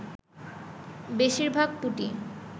বেশির ভাগ পুঁটি